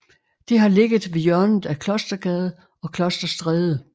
Det har ligget ved hjørnet af Klostergade og Klosterstræde